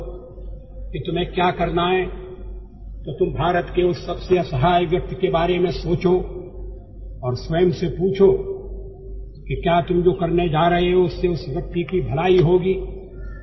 ನೀವು ಏನು ಮಾಡಬೇಕು ಎಂಬ ಕುರಿತು ದ್ವಂದ್ವವಿದ್ದಲ್ಲಿ ಭಾರತದ ಅಸಹಾಯಕ ವ್ಯಕ್ತಿಯ ಕುರಿತು ಆಲೋಚಿಸಿ ಮತ್ತು ನೀವು ಏನು ಮಾಡುತ್ತಿರುವಿರೋ ಅದರಿಂದ ಆ ವ್ಯಕ್ತಿಯ ಒಳಿತು ಆಗುವುದೇ ಎಂಬುದನ್ನು ಆಲೋಚಿಸಬೇಕು ಎಂದು ಅವರು ಹೇಳಿದ್ದರು